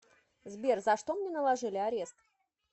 сбер за что мне наложили арест